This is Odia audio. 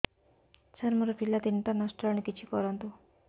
ସାର ମୋର ପିଲା ତିନିଟା ନଷ୍ଟ ହେଲାଣି କିଛି କରନ୍ତୁ